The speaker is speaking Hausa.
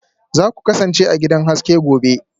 Za ku kasance a cikin gidan haske gobe